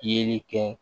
Yeli kɛ